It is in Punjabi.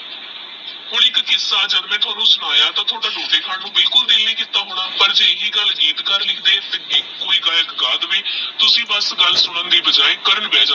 ਕਿੱਸਾ ਜਦ ਮੈਂ ਤਾਣੁ ਸੁਨਾਯਾ ਤਾ ਥੋਡਾ ਰੋਟੀ ਖਾਨ ਨੂ ਬਿਲਕੁਲ ਦਿਲ ਨਹੀ ਕੀਤਾ ਹੋਣਾ ਪਰ ਜੇ ਇਹੀ ਗੱਲ ਗੀਤਕਰ ਲਿਖਦੇ ਕੋਈ ਗਾਯਕ ਗਾ ਦੇਵੇ ਤੇ ਤੁਸੀਂ ਬਸ ਗਲ ਸੁਨਣ ਦੀ ਬਜਾਏ ਕਰਨ ਬਹ ਜੋ